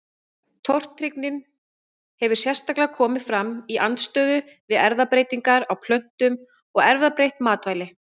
Tortryggnin hefur sérstaklega komið fram í andstöðu við erfðabreytingar á plöntum og erfðabreytt matvæli.